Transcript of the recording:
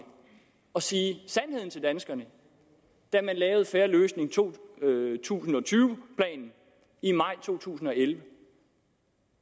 og sige sandheden til danskerne da man lavede fair løsning to tusind og tyve i maj 2011